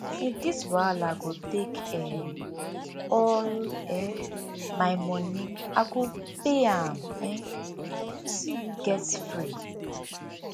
if this wahala go take um all um my monie i go pay am um to see you get free